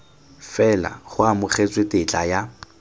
fela go amogetswe tetla ya